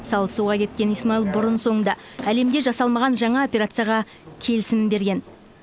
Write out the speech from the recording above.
салы суға кеткен исмаил бұрын соңды әлемде жасалмаған жаңа операцияға келісімін берген